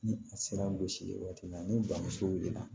Ni a sera gosili waati ma ni bamuso wilila